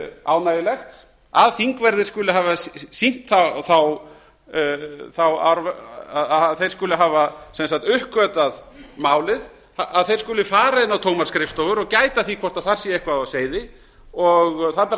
ánægjulegt að þingverðir skuli hafa uppgötvað málið að þeir skuli fara inn á tómar skrifstofur og gæta að því hvort þar sé eitthvað á seyði og það ber að